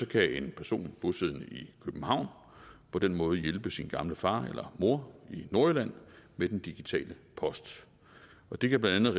kan en person bosiddende i københavn på den måde hjælpe sin gamle far eller mor i nordjylland med den digitale post og det kan blandt